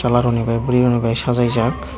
chwla rokni bai burui bai sajukjak.